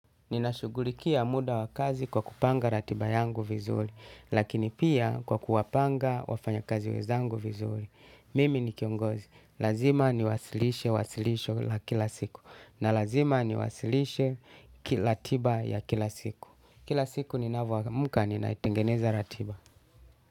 Ninashugulikia muda wa kazi kwa kupanga ratiba yangu vizuri. Lakini pia kwa kuwapanga wafanya kazi wezangu vizuri mimi ni kiongozi. Lazima niwasilishe wasilisho la kila siku. Na lazima niwasilishe kiratiba ya kila siku. Kila siku ni navyomka nina itengeneza ratiba.